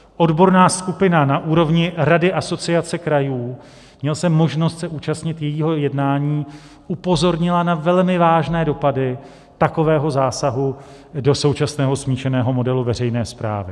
Odborná skupina na úrovni Rady Asociace krajů - měl jsem možnost se účastnit jejího jednání - upozornila na velmi vážné dopady takového zásahu do současného smíšeného modelu veřejné správy.